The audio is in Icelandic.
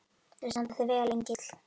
Þú stendur þig vel, Engill!